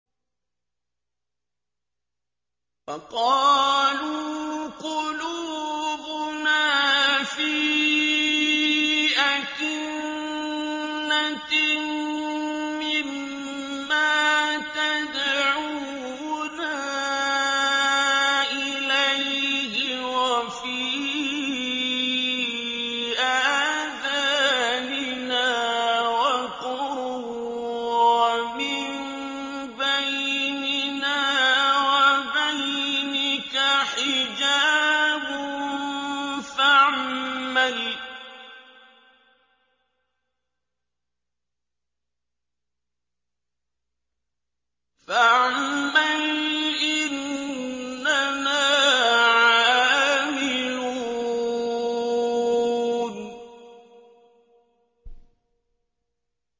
وَقَالُوا قُلُوبُنَا فِي أَكِنَّةٍ مِّمَّا تَدْعُونَا إِلَيْهِ وَفِي آذَانِنَا وَقْرٌ وَمِن بَيْنِنَا وَبَيْنِكَ حِجَابٌ فَاعْمَلْ إِنَّنَا عَامِلُونَ